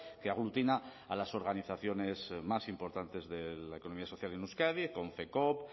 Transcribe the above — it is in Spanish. que aglutina a las organizaciones más importantes de la economía social en euskadi konfekoop